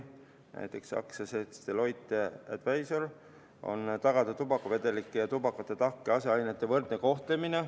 Näiteks AS Deloitte Advisory: tagada tubakavedelike ja tubaka tahkete aseainete võrdne kohtlemine.